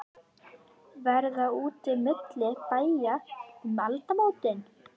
Verða úti milli bæja um aldamótin?